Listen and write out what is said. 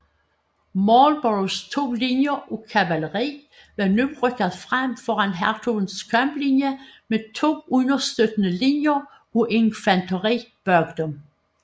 Marlboroughs to linjer af kavaleri var nu rykket frem foran hertugens kamplinje med to understøttende linjer af infanteri bag dem